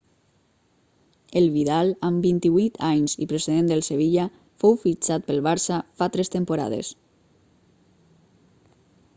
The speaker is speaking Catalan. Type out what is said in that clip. el vidal amb 28 anys i procedent del sevilla fou fixtat pel barça fa tres temporades